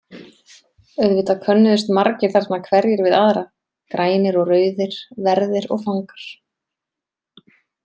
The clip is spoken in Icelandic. Auðvitað könnuðust margir þarna hverjir við aðra, grænir og rauðir, verðir og fangar.